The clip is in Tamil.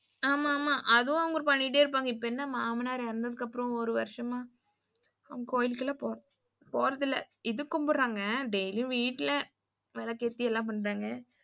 ஆமா ஆமா அதும் அவங்க பண்ணிடே இருப்பாங்க. இப்ப என்ன மாமனார் இறந்ததுக்கு அப்புறம் ஒரு வருஷமா அவங்க கோயில்கெல்லாம் போறதில்ல. இது கும்புடுறாங்க daily வீட்டுல விளக்கேத்தி எல்லாம் பண்றாங்க.